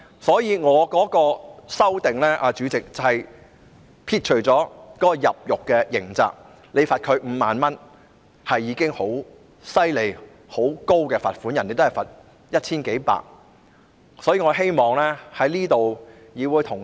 所以，主席，我的修正案旨在刪除入獄的刑責，因為罰款5萬元已經是很高的罰則，外國也只是罰款數百元或千多元而已。